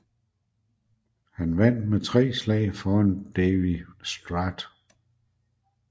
Han vandt med tre slag foran Davie Strath